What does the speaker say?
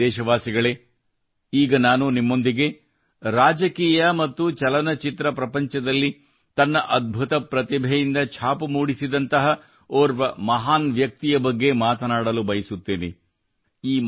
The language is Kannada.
ನನ್ನ ಪ್ರೀತಿಯ ದೇಶವಾಸಿಗಳೇ ಈಗ ನಾನು ನಿಮ್ಮೊಂದಿಗೆ ರಾಜಕೀಯ ಮತ್ತು ಚಲನಚಿತ್ರ ಪ್ರಪಂಚದಲ್ಲಿ ತನ್ನ ಅದ್ಭುತ ಪ್ರತಿಭೆಯಿಂದ ಛಾಪು ಮೂಡಿಸಿದಂತಹ ಓರ್ವ ಮಹಾನ್ ವ್ಯಕ್ತಿಯ ಬಗ್ಗೆ ಮಾತನಾಡಲು ಬಯಸುತ್ತೇನೆ